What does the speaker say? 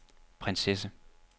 prinsesse